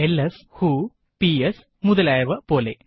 LS വ്ഹോ PS മുതലായവപോലെ